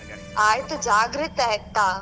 ಆಯ್ತು ಜಾಗ್ರತೆ ಆಯ್ತಾ?